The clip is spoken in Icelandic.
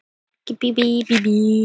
Ha, þú vilt kannski verða konungur?